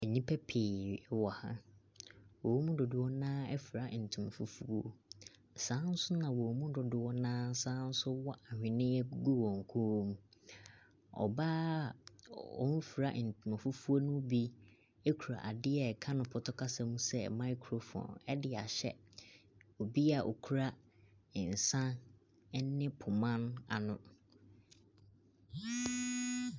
Nnipa pii wɔ ha. Wɔn mu dodoɔ no ara afira ntoma fufuo. Saa ara nso na wɔn mu dodoɔ no ara asane nso wɔ nhweneɛ gu wɔn kɔn mu. Ɔbaa a ɔmfira ntima fufuo no bi kura adeɛ a wɔka no pɔtɔ kasa mu sɛ microphone de ahyɛ obi a ɔkura nsa ne poma no ano.